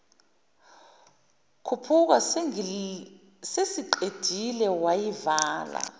khuphuka sesiqedile wayivala